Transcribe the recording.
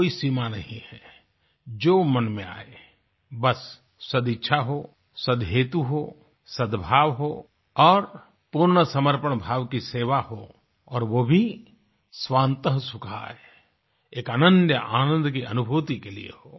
कोई सीमा नहीं है जो मन में आये बस सदइच्छा हो सदहेतु हो सदभाव हो और पूर्ण समर्पण भाव की सेवा हो और वो भी स्वांत सुखाय एक अनन्य आनंद की अनुभूति के लिये हो